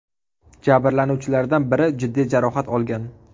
Jabrlanuvchilardan biri jiddiy jarohat olgan.